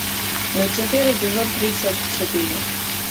люцифер эпизод тридцать четыре